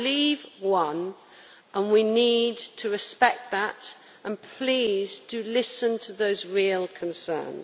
Leave' won and we need to respect that, but please do listen to those real concerns.